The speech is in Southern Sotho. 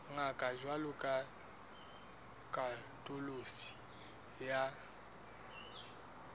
ngata jwalo ka katoloso ya